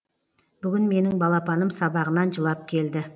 бүгін менің балапаным сабағынан жылап келді